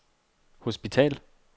hospital